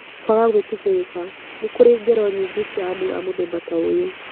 Kwaga gwĩtĩkĩrĩka: Nĩ kũrĩ ngero nyingĩ cia andũ a mũthemba ta ũyũ.